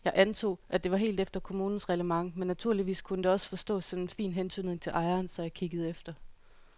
Jeg antog, at det var helt efter kommunens reglement men naturligvis kunne det også forstås som en fin hentydning til ejeren, så jeg kiggede efter.